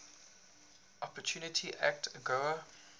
opportunity act agoa